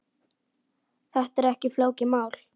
Þetta er ekki flókið mál.